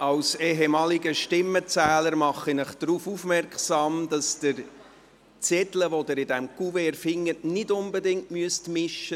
Als ehemaliger Stimmenzähler mache ich Sie darauf aufmerksam, dass Sie die Zettel, die Sie in diesem Kuvert finden, nicht unbedingt mischen müssen.